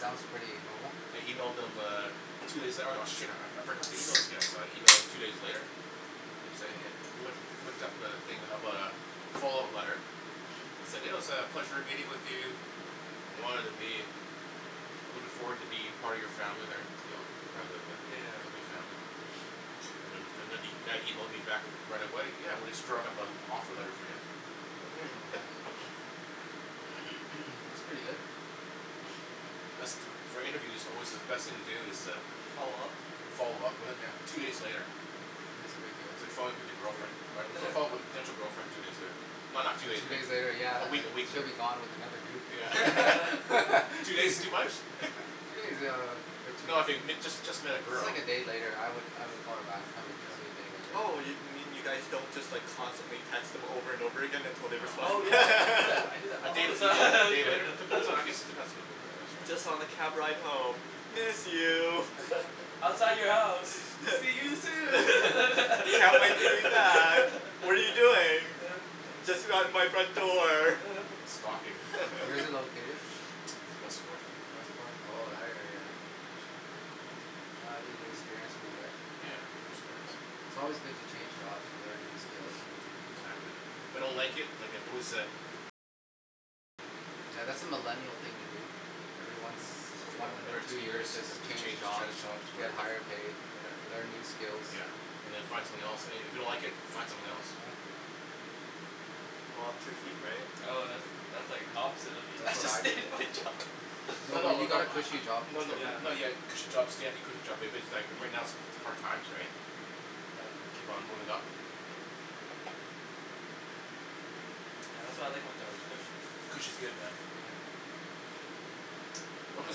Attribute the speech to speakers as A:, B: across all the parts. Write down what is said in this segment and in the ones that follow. A: Sounds pretty normal.
B: I emailed them uh two days out oh shit I I forgot to email those guys so I emailed two days later to say hey loo- looked up the thing about uh follow-up letter said oh said "it was a pleasure meeting with you" I wanted to be I'm looking forward to be part of your family there part of the
C: Yeah.
B: company family. And the- then the guy emailed me back right away "yeah we're just drawing up an offer letter for you".
D: Hmm
A: That's pretty good.
B: For interview it's alway the best thing to do is to follow-up with it
A: Yeah
B: two days later.
A: that's a big deal.
B: It's like following up with your girlfriend right follo- followup with a potential girlfriend two days later not not two days
A: Two days
B: later
A: later year
B: a
A: uh uh
B: week a week
A: she'll
B: later.
A: be gone with another dude.
B: Yeah. Two days too much? No I fig- if you just just met a
A: Just
B: girl.
A: like a day later I would I would call her back if I'm interested a day later.
D: Oh yo- you mean you guys don't just like constantly text them over and over again until they respond?
B: No
C: Oh yeah I do
B: no.
C: that I do that
B: A day
C: all the
B: a day later
C: time.
B: depends I guess it depends on the woman I guess right.
D: Just on the cab ride home, "Miss you".
B: I don't know
C: "Outside
B: man.
C: your house see you soon".
D: "Can't wait to hear you back. What are you doing"? "Just around out my front door."
B: Stalking.
A: Where's it located?
B: It's west fourth.
A: West fourth oh that area eh? That'll be anew experience for you eh?
B: Yeah hear it's nice.
A: It's alway good to change jobs you learn new skills and meet new people.
B: Exactly. If I don't like it I can always uh
A: Yeah that's a millennial thing to do ever once
D: Too
A: one or
B: Every
D: millennial.
A: two
B: two years
A: year
B: just
A: just change
B: change change
A: jobs.
B: jobs
A: you
B: for,
A: get higher pay
B: yeah,
A: learn new skills.
B: yeah And then you find something else and and if you don't like it find something else.
A: Yeah.
D: Ah too cute right?
C: Oh that- that's like opposite of
A: That's what
C: the
A: I did.
C: of what I do.
B: No
A: No but you
B: no.
A: got a cushy job.
B: No no, no you have
C: Yeah.
B: a cushy job stay at the cushy job but but that right right now it's hard times right. Keep on moving up.
C: Yeah that's why I like my job its cushy.
B: Cushy's good man. What was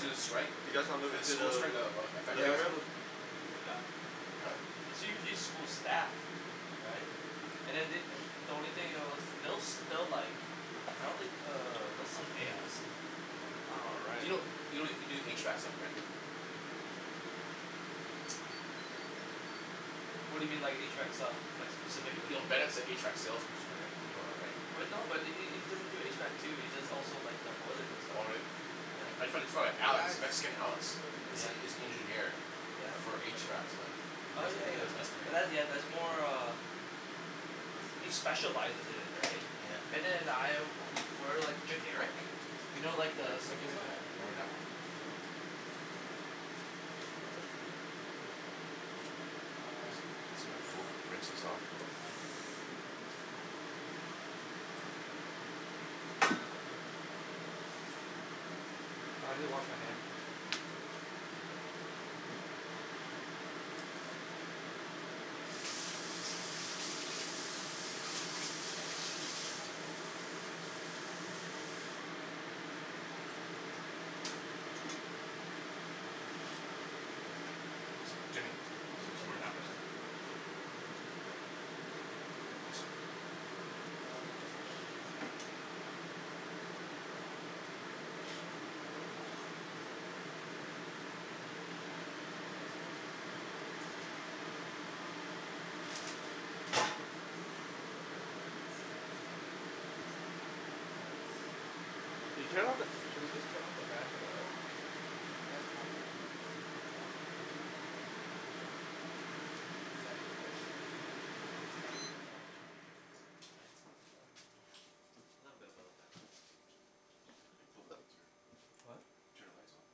B: the strike
D: you guys want to
B: the school
D: the
B: strike that that
D: um
B: effected
A: Yeah
B: you
D: living
A: let's
B: right?
D: room?
A: move.
C: Yup.
B: Hmm?
C: It's usually school staff.
D: Hmm
C: Right and then they the only thing else they- they'll like I don't think uh they'll still pay us.
B: Hmm
D: All
B: Do
D: right.
B: you kno- you can do HVAC stuff right?
C: What do you mean like HVAC stuff? Like
B: Yo-
C: specifically.
B: you know Bennett's an HVAC sales person right? You know that right?
C: But no but he he he doesn't do HVAC too he does also like the boilers and
B: Oh
C: stuff.
B: really?
A: I don't
B: My
C: Yeah.
A: think,
B: frie- friend
A: hey
B: Alex,
A: guys
B: Mexican
A: we should
B: Alex,
A: move in here.
B: is
C: Yeah.
B: is the engineer.
C: Yeah.
D: I don't
B: For
D: think they like us
B: HVAC
D: very
B: stuff.
D: much.
B: He
C: Oh
B: does and he
C: yeah
B: does
A: No
C: yeah
B: estimate.
C: but that's yeah
A: they're
C: that's
A: uh
C: more
A: caught
C: uh
A: between us
C: he
A: and their
C: specializes
A: conversation.
C: in it right? Bennet and I we- we're like generic you know like the
A: So
B: Gimme gimme
A: Jen
C: simplify.
A: told me you guys are
B: the
A: hiring and I was almost tempted to apply.
D: Why don't you? It would be awesome.
A: uh
B: That's a four rinse this off.
D: Though, I don't know if you want to say it on camera.
A: It's um that's fine I mean I'm
C: I didn't
A: maybe
C: wash
A: I
C: my
A: need a
C: hands.
A: few more months of stability
D: Hmm
A: like maybe four more months you guys yeah and it's kinda hard to leave right now cause the company's going through a tough time
D: Ah that's fair.
A: Yeah
B: Jimmy ca- can I
D: I
B: have some
D: thought
B: more
D: that's the
B: napkins
D: best time to leave.
A: No. Um so I know we're gonna weather the storm.
D: uh-huh
A: And it'll be it'll look really good if I stay and its also pay cut.
D: Oh.
A: Yeah but it's it's tempting because the
C: Did you turn
A: job
C: of-
A: is so
C: should we just
A: interesting.
C: turn off the fan for the hood?
B: Yeah
D: Oh yes
B: yeah I
D: please.
B: just told
A: you
B: him that.
A: guys travel everywhere that's awesome.
D: I don't.
A: I- is that a choice or you're
D: Umm
A: stuck to a project?
D: I think umm a little bit of both actually.
A: Hmm
B: Kill the lights or?
C: What?
B: Turn the lights off?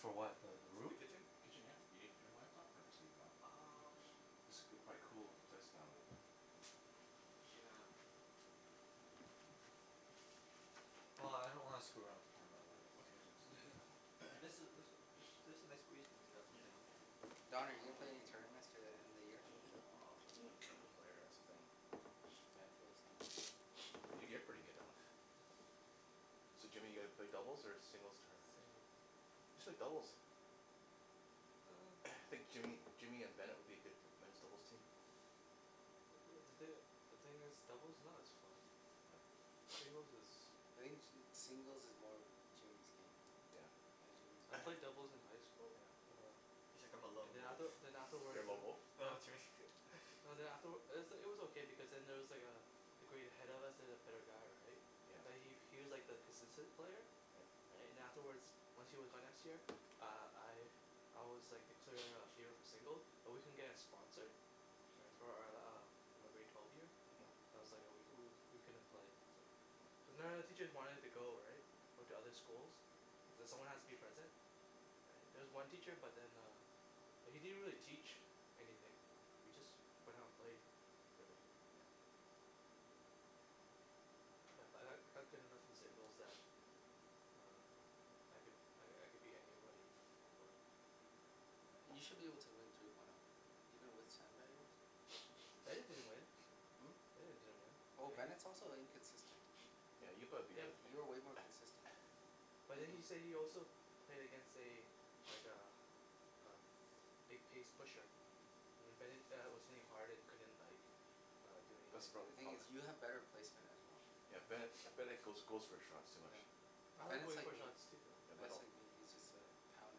C: For what the the
D: the
C: room?
D: kitchen?
B: Kitchen yeah. You need to turn the lights off or just leave it on?
D: Umm
B: this it'll cool the place down a little bit.
D: Yeah. If I can. Well I don't want to screw around with the camera the lighting, so
B: Okay
D: I'm
B: jus-
D: just
B: just leave
D: gonna
B: it
D: leave it. And this this
B: then.
D: was there's a nice breeze coming through that
B: Yup
D: window.
B: yeah.
A: Don are you gonna play in any tournaments to the end of the year?
B: Nah I'm not not good of a player that's the thing
A: Yeah I feel the same way.
B: yo- you're pretty good Alex. So Jimmy your gonna play singles or doubles tournament?
C: Singles.
B: You should play doubles.
C: hmm
B: I think Jimmy Jimmy and Bennet would be a good men's doubles team.
C: Uh uh the thin- the thing is doubles is not as fun.
B: oh
C: Singles is.
A: I think ju- singles is more Jimmy's game.
B: Yeah.
A: Yeah Jimmy's
C: I played doubles in high school
B: yeah.
C: uh
D: He's like "I'm a
C: and
D: lone
C: then
D: wolf".
C: after then
A: uh-huh.
B: You're
C: afterwards
B: a lone wolf?
C: dah.
D: No Jimmy
C: No then afterw- it was it was okay because then there was like uh a grade ahead of us there's a better guy right
B: Yeah.
C: but he he was like the consistent player
B: Yeah.
C: right and then afterwards once he was gone next year uh I I was like the clear uh favor for single but we couldn't get a sponsor right for our uh for my grade twelve year
B: uh-huh.
C: that's was like oh we couldn- we couldn't play cuz none of the teachers wanted to go right went to other schools cuz someone has to be present there was one teacher but then uh but he didn't really teach anything we just went out and played.
B: Really?
C: Yeah yeah but I I got good enough in singles that um I could I I could beat anybody for so.
A: Yea- you should be able to win three point o even with sandbagger
C: Bennet
A: bet play.
C: didn't win.
A: Hmm?
C: Bennet didn't win
A: Oh
C: and he.
A: Bennet's also inconsistent.
B: yeah you'll probably beat
A: Yeah
C: Yeah
B: Bennet
C: b-
A: you're way more consistent.
C: but then he say he also played against a like a a big pace pusher
A: uh-huh.
C: and then Bennet uh was hitting hard and he couldn't like uh do
B: That's the
C: anything
A: The
B: proble-
A: thing
B: hum eh?
A: is you have better placement as well.
B: yeah
C: Yeah.
B: Bennet Bennet goes goes for shots too much.
A: Yeah.
C: I like
A: Bennet's
C: going
A: like
C: for
A: me.
C: shots too though.
B: Yeah but
A: Bennet's
B: don't.
A: like me he just uh pound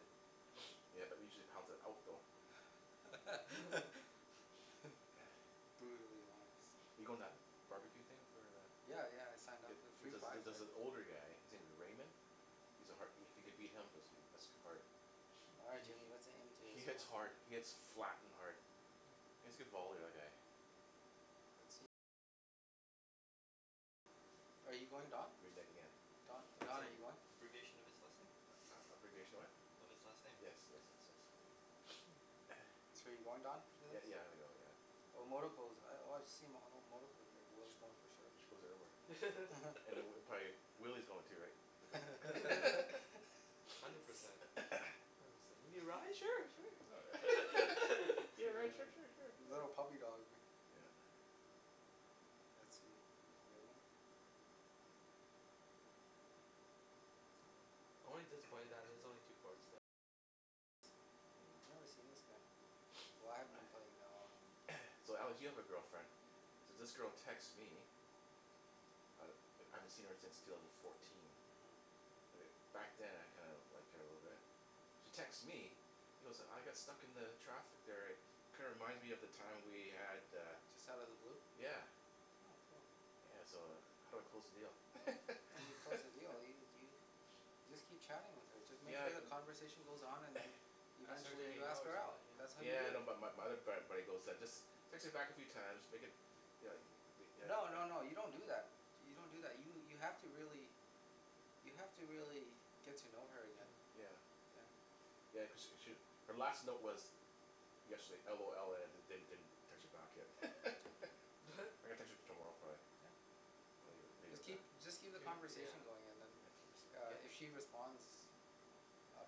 A: it.
B: Yeah usually he's pounds it out though.
A: Brutally honest.
B: you goin- to that bar-b-que thing for the?
A: Yeah yeah I signed
B: Jup
A: up
B: it
A: for the
B: it
A: free prize
B: jus- just
A: right.
B: an older guy his name is Raymond..
A: uh-huh.
B: He's a har- if you can beat him that's goo- that's hard
A: All right
B: he
A: Jimmy
B: he,
A: let's aim to
B: he hits
A: smoke.
B: hard, he hits flat and hard.
C: Hm.
B: He has a good volley the other guy.
A: Are you going Don?
B: Renege again.
D: Uh
A: Don,
D: that's
A: Don are you going?
D: abbreviation of his last name.
B: A- abbreviation of what?
D: Of his last name.
B: Yes, yes yes yes.
A: So you're going Don for
B: Yeah
A: this?
B: yeah I'm gonna go yeah.
A: Oh I've oh I've seen oh here whoever's going for sure.
B: She goes everywhere. And then prob- probably Willy's going to right because.
C: Hundred percent. you need a ride sure sure.
B: You wanna a ride sure
A: li-
B: sure sure sure.
A: little puppy dog ri-
B: Yeah.
A: Let's see Raymond.
D: Hmm.
A: I've never seen this guy. Why I haven't been playing that long and.
B: So Alex you have a girlfriend. So this girl texts me I I haven't seen her since two thousand and fourteen
A: uh-huh.
B: uh back then I kinda liked her a little bit she texts me
A: Mm.
B: you know so I got stuck in the traffic there eh kinda reminds me of the time we had uh
A: Just outta the blue?
B: yeah
A: Oh cool.
B: yeah so uh how do I close the deal?
A: How do you close the deal? Do you do you- You just keep chatting with her just make
B: Yeah I
A: sure the
B: cu-
A: conversation goes on and then you
C: Ask her to
A: eventually
C: hangout
A: ask
C: or
A: her out,
C: something
A: that's
C: yeah.
A: how you
B: Yeah
A: do
B: I know
A: it.
B: bu- but my other frat buddy goes just text her back a few time make it you know the th-
A: No no no you don't do that do- you don't do that you have to really you have to really get to know her again.
B: Yeah.
A: Yeah.
B: Yeah cause she sh- her last note was yesterday LOL and I didn- didn't text her back yet I'm
C: What?
B: gonna text her tomorrow probably
A: Yeah.
B: and leave leave it
A: Just
B: at that
A: keep just keep the
C: do yeah
A: conversation going and then
B: yeah keep it
A: uh
C: get
A: if she responds uh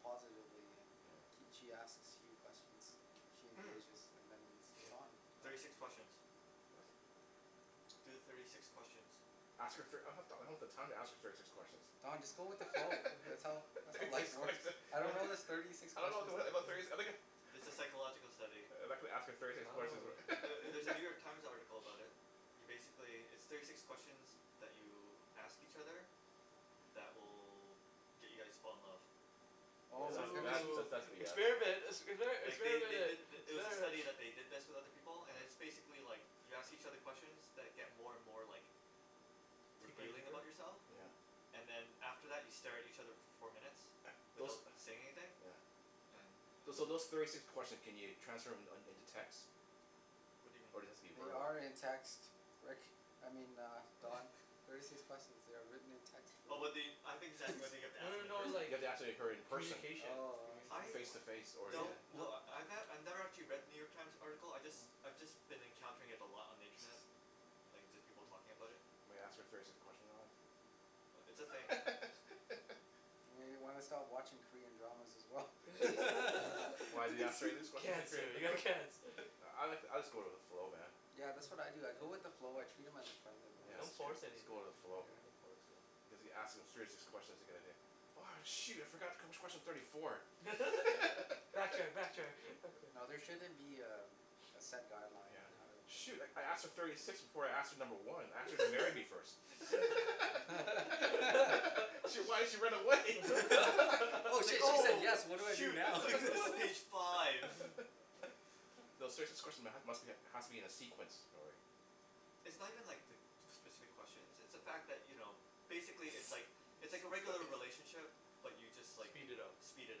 A: positively and
B: yeah
A: kee- she asks you questions she
D: Umm
A: engages then that means it's on
D: thirty
A: Don
D: six questions
B: what?
D: Do the thirty six questions.
B: Ask her thir- I don- I don't have the time to ask her thirty six
A: Oh
B: questions
A: Don just go with the
D: Oh
A: flow that's all that's
B: thirty
A: how
B: six
A: life works
B: questions
C: I
A: I don't
C: don't
A: know this thirty six
B: I don't know
A: questions
B: abo-
A: thing
B: about thirty si-
C: yeah
B: I'm gonna
D: It's a psychological study.
B: Uh I'm not gonna ask her thirty six
C: I
B: questions wh-
C: don't know.
D: Ther- there's a New York Times article about it. You basically, there's thirty six questions that you ask each other that will get you guys to fall in love.
B: Yeah
A: Oh my
D: So
A: goodness.
B: that's that's
C: Oh
B: that's BS
C: experiment expe-
D: Like they
C: experiment
D: they did
C: it
D: th- it was a
C: experiment.
D: study that they did this with other people and it's
B: yeah
D: basically like you ask each other questions that get more and more like
C: deeper and
D: revealing
C: deeper
D: about yourself.
C: yeah
B: yeah
D: And then after that you stare at each other for four minutes
B: those
D: without saying anything
B: yeah
D: And
B: Those
D: umm
B: so those thirty six questions can you transfer them in into text?
D: What do you mean?
B: Or does it have be
A: They
B: verbal?
A: are in text. Rick, I mean uh Don thirty six question. they are written in text for
D: Oh well,
A: you
D: I I think he's asking whether you have to
C: No
D: ask them
C: no
D: in
C: no
B: Do
D: person.
B: you
C: like
B: have to ask he- her
C: co-
B: in person?
C: communication
A: Oh I see.
D: I
B: Face to face or
C: one
B: yeah?
A: wel-
C: yeah
D: don't
A: wel-
D: kno- I ne- I've never actually read the New York Times article I
B: Hmm
D: jus-
B: hmm
D: I've just been encountering it a lot on the internet. Like just people
C: Hm
D: talking about it.
B: I'm gonna ask her thirty six questions Alex.
D: But it's a thing.
A: Maybe you wanna stop watching Korean dramas as well.
B: Yeah. Why do they ask thirty six questions in Korean
C: cancer you have
B: dram- ?
C: cancer.
B: I like I'll just go with the flow man.
C: Yeah
A: yeah that's what I do I go with the
C: yeah.
A: flow I treat them as a friend and it
C: Yeah,
A: works
B: yeah
C: don't
B: its true
C: force
B: just
C: anything,
B: go with the
C: yeah you
B: flow.
C: don't
A: Yeah.
C: have to force it.
B: Because if you ask them thirty six questions you're gonna do "oh shoot I forgot wh- which question's thirty four".
C: backtrack backtrack, backtrack.
A: No there shouldn't be um a set guideline
B: Yeah.
A: on
C: Yeah.
A: how to
B: Shoot I I asked her thirty six before I asked her number one, I asked her to marry me first. shit why'd she run away?
A: oh
D: it's like
A: shit she said
D: oh
A: yes what do I do
D: shoot it's
A: now
D: like this is page five.
C: uh-huh
B: No serious- this question must be has to be in a sequence probably.
D: It's not even like the specific questions it's the fact that
B: Hm
D: you know basically it's like it's
B: It's
D: like a
B: all
D: regular
B: right.
D: relationship but you just like,
C: Speed it up.
B: Yeah.
D: speed it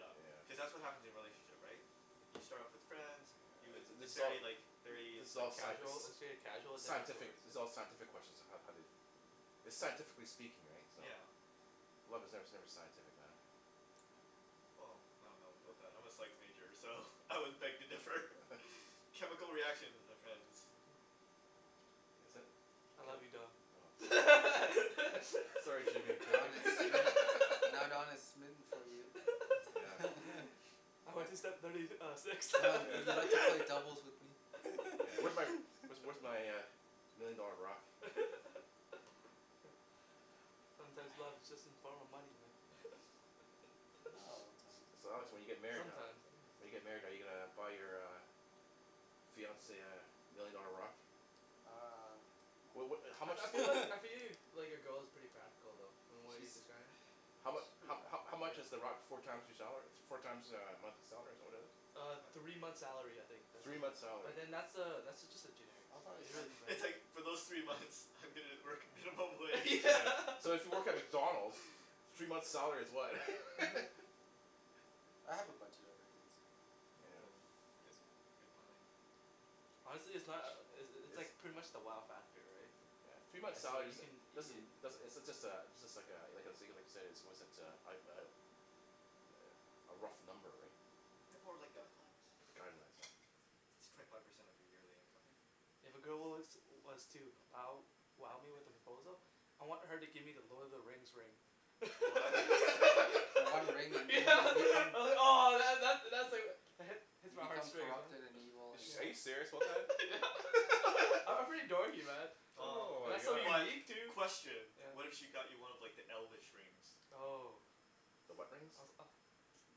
D: up
B: Yeah.
D: Cuz that's what happens in relationship right? You start off as friends you,
B: yeah thi-
D: it's
B: this is all
D: very like very
B: this is
D: like
B: all sci-
C: casual
D: superficial.
C: it's a casual
B: sci-
C: the
B: scientific this is all scientific question on how how they It's scientifically speaking right, so?
D: Yeah.
B: Love is ne- never scientific man.
D: Well I don't know about that, I'm a psych major so I would beg to differ, chemical reactions my friends.
C: uh-huh
B: Is it?
C: I love you
B: Ca-
C: Don.
B: no fo Sorry Jimmy I'm taken.
A: Don is smi- now Don is smitten for you.
B: Yeah.
C: I went to step thirty uh six
A: Don would you
B: Yeah.
A: like to play doubles with me?
B: Yeah where's where's where's my million dollar rock?
C: hm Sometimes love is just in form of money man
B: Yeah.
A: Not all the time.
B: So Alex when you get
C: Yeah
B: married how-
C: sometimes
B: When you get married are
A: uh-huh
B: you uh gonna buy your uh fiance uh million dollar rock?
A: uh
B: Well
A: no
B: what how
C: I
B: much?
C: I feel like I feel like your girl is pretty practical though from what
A: She uh
C: you described.
B: How
A: yeah she's
B: mu-
A: pretty
B: how how
A: practical.
B: how much is the rock four times your salary? Four times uh a monthly salary is that what it is?
D: uh
B: Three
A: three
B: months'
A: months'
B: salary.
A: salary. I'll probably spend
D: It's like for those three months I'm gonna work minimum wage.
B: Yeah so if you work at McDonalds three months' salary is what?
A: I have a budget already.
B: Yeah.
D: Oh good
A: That's fine.
D: good planning.
C: Honestly it's not uh uh it's
B: it's
C: pretty much the wow factor right.
A: yeah
B: yeah three months'
C: right so
B: salary
C: you can
B: doesn't doesn't
C: uh
B: does- it's just a it's just like uh like I said like I like I said a a was it uh uh a rough number right
D: They're more like guidelines
B: guidelines right
D: It's twenty five percent of your yearly income.
C: Yeah. If a girl was was to wow wow me with a proposal I want her to give me the Lord of the Rings ring
D: Oh that'd be insane
C: yeah ahh that that's
A: Hmm
C: hits
A: You
C: my heart
A: become
C: straight
A: corrupted and evil and
B: Ar- are you
C: yeah
B: serious
C: yeah I'm pretty dorky man
B: Ohh
D: Oh
C: That's so
B: my
D: but
B: God.
C: unique too
D: question, what if
C: yeah.
D: she got you one of like the elfish rings?
C: Oh
B: The what rings?
C: I was ah uh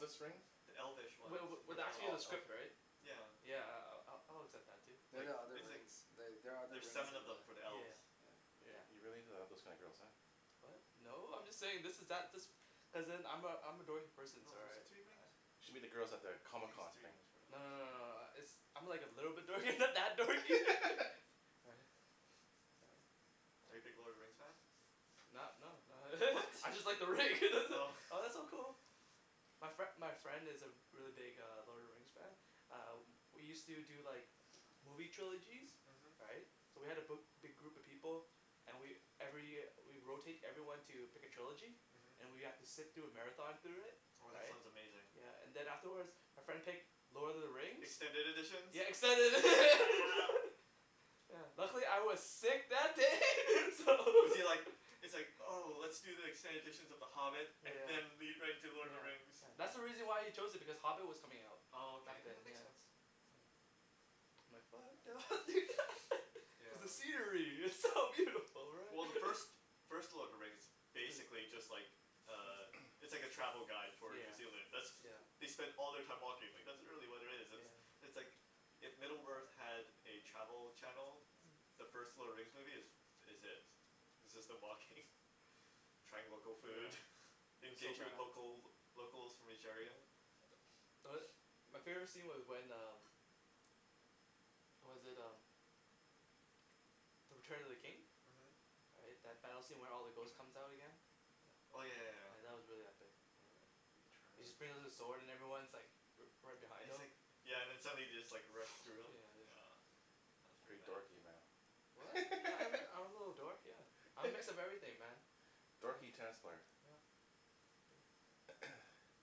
C: that's
B: rings?
C: yeah
D: The elfish ones,
C: wa-
D: for
C: was
D: the elves,
C: actually in
B: Oh
C: the script
B: elvish
C: right?
D: yeah.
C: yeah I- I'll- I'll accept that too.
A: They're
D: Like
A: the other
D: it's like
A: rings the- they are other
D: there's
A: rings
D: seven of
A: in
D: them
A: the
D: for the elves.
C: yeah
A: yeah
B: You're
C: yeah
B: you're really into uh those kinds of girls huh?
C: what? no. I'm just saying this is that this cuz then I'm a I'm a dorky person
D: No is it three rings?
C: ah
B: You should meet the girls at the
D: I
B: Comic
D: think it's
B: Con
D: three
B: thing.
D: rings for the
C: no no
D: elves.
C: no no uh it's I'm like a little bit dorky not that dorky right. right
D: Are you big Lord of the Rings fan?
C: Not no not
D: What?
C: I just like the ring that it
D: Oh
C: oh that's so cool my fri- my friend is a re- really big Lord of the Rings fan ah we use to do like movie trilogies,
D: uh-huh.
C: right so we had a bi- big group of people and we every we rotate everyone to pick a trilogy
D: uh-huh.
C: and we have to sit through a marathon through it
D: Oh that
C: right
D: sounds amazing.
C: yeah and then afterwards our friend picked Lord of the Rings
D: Extended editions?
C: Yeah extended edi-
D: Yeah.
C: yeah luckily I was sick that day so
D: Was he like, it's like oh let's do the extended editions of the Hobbit and
C: yeah.
D: then lead right into Lord of the
C: yeah
D: Rings.
C: yeah that's
B: Hmm
C: why he chose it because Hobbit was coming out
D: Oh okay,
C: back then
D: that makes
C: yeah.
D: sense
C: hm I'm like fuck
D: yeah
C: because the scenery is so beautiful right
D: Well the first first Lord of the Rings is
C: be-
D: basically just like uh It's like a travel guide for New
C: yeah
D: Zealand, that's
C: yeah
D: they spend all their time walking, like that's really what it is
C: yeah
D: it's like if Middle Earth had a travel channel
C: Hm
D: the first Lord of the Rings movie is is it
C: Hmm
D: it's just them walking trying local food,
C: yeah that's so
D: engaging with
C: bad
D: local locals from each area.
C: yeah tho- my favorite scene was when um was that um The Return of the King
D: uh-huh
C: right that battle scene where all the ghost comes out again yeah
D: oh yeah yeah
C: yeah
D: yeah
C: that was really epic He just brings out his sword and everyone's like righ- right
D: And
C: behind
D: he's
C: him
D: like, yeah and then somebody just like runs through him,
C: put yeah just
D: yeah. That's pretty
B: Pretty
D: bad.
B: dorky
C: what?
B: man
C: yeah I'm I'm a little dork yeah I'm a mix of everything man
B: Dorky tennis player
C: yup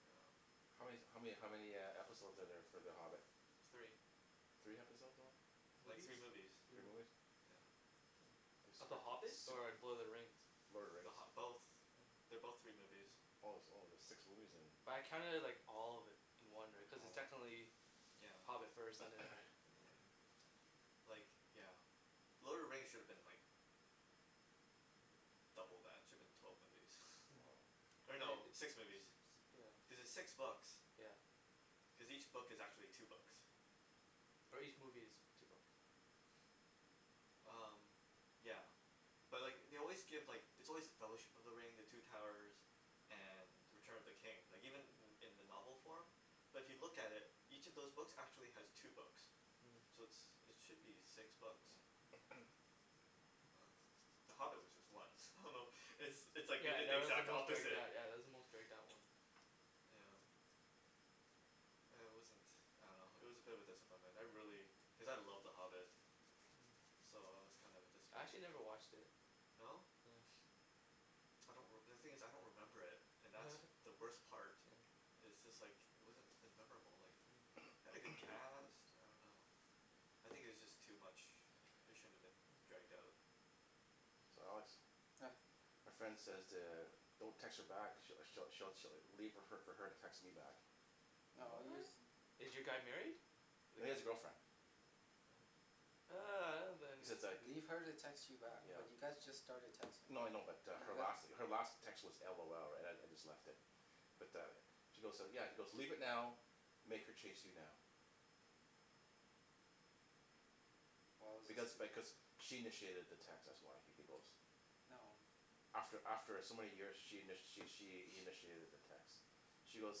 D: yeah
B: how man- how many how many uh episode are there for The Hobbit?
D: Three.
B: Three episode only
D: Like
C: movies.
D: three movies.
C: three
B: Three movies
C: movi-
D: Yeah
C: yeah. Of The Hobbit or Lord of the Rings?
B: Lord of the
D: The
B: RIngs
D: Hobbi- both,
C: oh
D: they're both three movies.
C: yeah
B: Oh oh there's six movies
C: yeah,
B: then
C: but I counted it like all of it in one right cuz it's
B: Oh yeah
C: technically
D: yeah
C: Hobbit first and then right but yeah yeah
D: Like yeah. Lord of the Rings should've been like double that, it should've been twelve movies.
B: woah
D: or
C: uh-huh.
D: no
C: li- six
D: six movies
C: yeah
D: cuz it's six books
C: yeah
D: cause each book is actually two books
C: or each movie is two books
D: umm yeah But like they always give like it's always The Fellowship of the Ring the Two Towers and The Return of the King. Like even
C: uh-huh
D: in in the novel form but if you look at it each of those books actually has two books
C: Mm
D: So it's it should be six books
C: Mm
D: umm, The Hobbit was just one, I don't know it's
C: Mm
D: it's like they
C: yeah
D: did the
C: that was the
D: exact
C: most dragged
D: opposite
C: out yeah that was the most dragged out one yeah
D: yeah
C: huh
D: uh it wasn't I don't know it was a bit of a disappointment, I really,
C: Mm
D: cuz I love The Hobbit
C: Hmm
D: So I was kinda
C: I
D: disappointed
C: actually never watched it
D: No?
C: yes
D: I don't reme- the thing is I don't remember it and that's the worst part
C: yeah
D: it's just like it wasn't as memorable like
C: Hmm
D: it had a good cast, I don't know I think it was just too much it shouldn't have been
C: Hmm
D: dragged out.
B: So Alex
A: yeah
B: My friend says to don't text her back she'll she'll she'll leave fo- leave it for her to text me back
A: No
C: What?
A: use- th-
C: Is your guy married?
B: No he has a girlfriend
C: ah
B: He says like
A: Leave her to text you back but
B: yeah
A: you
C: yeah
A: guys just started
B: No
A: texting
B: no I know but uh her last her last text was LOL right I I just left it Yeah but uh She goes yeah he's goes leave it now make her chase you now
A: Well it's
B: Because
A: just th-
B: because she initiated the text that's why he goes
A: No
B: After after some many years she in- she she initiated the text She goes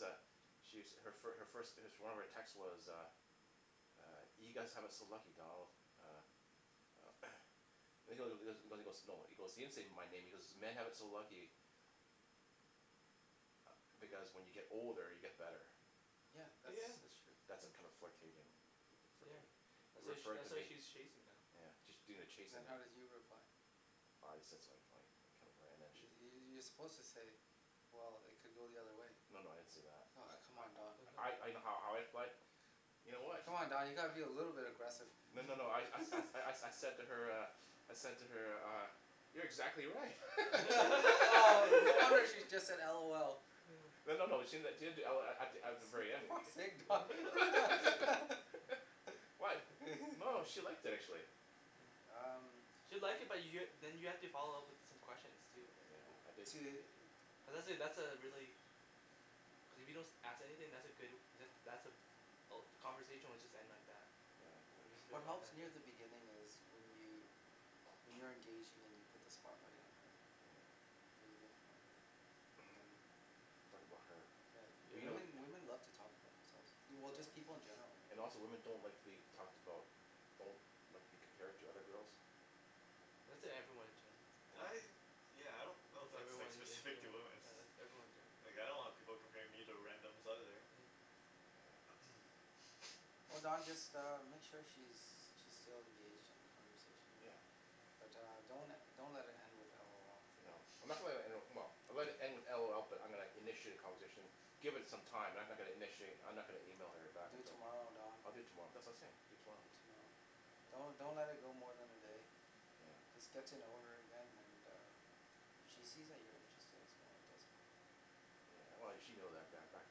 B: uh She's her first her first one of her text text was uh uh you guys have it so lucky Donald uh uh He he goes he goes no he goes he didn't say my name he goes "men have it so lucky" ah because when you get older you get better
A: Yeah that's
C: yeah
A: that's true
B: That's a kind
C: yeah
B: of flurtating
C: yeah
A: uh-huh
C: That's why
B: referring referring to
C: that's why
B: me
C: she's chasing now
B: yeah she's doing the chasing
A: Then
B: now
A: how did you reply
B: I just said something funny I can't remember and then she
A: you're suppose to say well it could go the other way
B: No no I didn't say that
A: Oh come
B: I
A: on Don
B: I I I know how I I fled You know what
A: Come on Don you gotta be a little bit agressive
B: No no no I
C: Hmm
B: I I, I said to her uh I said to her uh You're exactly right
A: oh no wonder she just said LOL
C: Hmm
B: No no no she didn- she didn't do LOL at th- at the very
A: For
B: end
A: fuck's sake guy
C: Huh
B: Why? No she liked it actually
C: yeah
A: Um
C: She'll like it but you're then you have to follow up with some questions too right
B: Yeah I didn't
A: To
C: cuz that that's a really cuz if you don't as- ask anything that's a good that that's a all the conversation will just end like that
B: Yeah
C: Or
B: I
C: it'll
B: I
C: just
A: Wh-
C: be a
A: what
C: one
A: helps
C: time
A: near
C: thing
A: the beginning is when you when you're engaging and you put the spotlight on her
B: Hmm
A: yeah you make it about her and then you
B: talk about her
A: yeah
B: But you know
A: women
C: yeah
A: women love to talk about themselves du- just people
C: Yup
A: in general right
B: And also women don't like to be talked about Don't like to be compared to other girls
C: That's e- everyone in general,
B: yeah
C: yeah.
D: I yeah I don't know if
C: that's
D: that's like
C: everyone yea-
D: specific to
C: yeah
D: women
C: yeah that's everyone ge-
D: like I don't want people comparing me to randoms either.
C: yeah
B: Yeah
A: Oh Don just uh make sure she's she's still engaged in the conversation
B: yeah
A: but uh don't le- don't let it end with LOL
B: No I'm not gonna le- let it end, well I'll let it end with LOL but I'm gonna initiate a conversation Give it some time I'm no- not gonna initiate I'm not gonna email her back
A: Do it
B: until
A: tomorrow Don
B: I'll do it tomorrow that's what I was saying I'll do it tomorrow
A: Do it tomorrow
B: yeah
A: Don't don't let it go more than a day
B: yeah
A: Just get to know her again and uh if she
B: yeah
A: sees that you're interested as well it does help
B: Yeah well she know that ba- back